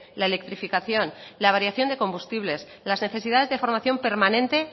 la electrificación la variación de combustibles las necesidades de formación permanente